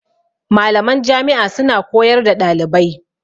Malaman Jami' a suna koyar da ɗalibai